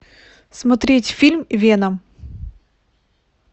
смотреть фильм веном